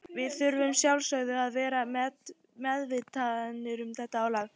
Við þurfum að sjálfsögðu að vera meðvitaðir um þetta álag.